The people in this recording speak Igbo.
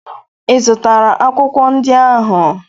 Ị zụtara akwụkwọ ndị ahụ?